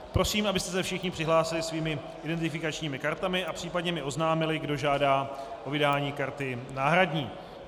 Prosím, abyste se všichni přihlásili svými identifikačními kartami a případně mi oznámili, kdo žádá o vydání karty náhradní.